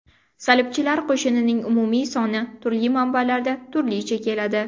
Salibchilar qo‘shinining umumiy soni turli manbalarda turlicha keladi.